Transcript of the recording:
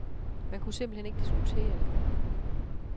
Man kunne simpelt hen ikke diskutere det.